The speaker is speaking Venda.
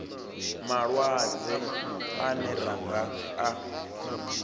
malwadze ane ra nga a